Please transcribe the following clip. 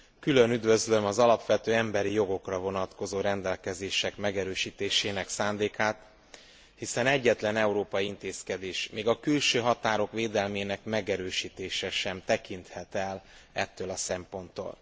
Külön üdvözlöm az alapvető emberi jogokra vonatkozó rendelkezések megerősítésének szándékát, hiszen egyetlen európai intézkedés, még a külső határok védelmének megerősítése sem tekinthet el ettől a szemponttól.